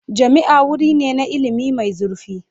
Jami'a wuri ne na ilimi mai zurfi.